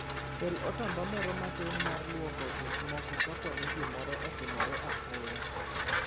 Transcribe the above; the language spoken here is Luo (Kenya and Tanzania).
Kel otamba moro matin mar lwoko gik moko kapo ni gimoro otimore apoya.